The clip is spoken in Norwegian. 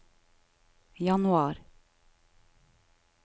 januar